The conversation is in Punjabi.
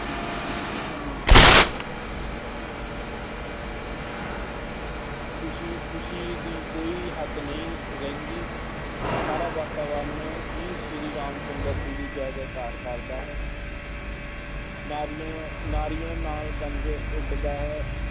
ਖੁਸ਼ੀ ਖੁਸ਼ੀ ਦੀ ਕੋਈ ਹੱਦ ਨਹੀਂ ਰਹਿੰਦੀ, ਸਾਰਾ ਵਾਤਾਵਰਨ ਹੀ ਸ੍ਰੀ ਰਾਮ ਚੰਦਰ ਜੀ ਦੀ ਜੈ ਜੈ ਕਾਰ ਕਰਦਾ ਹੈ ਨਾਅਰਿਆਂ ਨਾਅਰਿਆਂ ਨਾਲ ਉੱਡਦਾ ਹੈ।